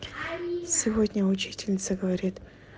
сегодня учительница говорит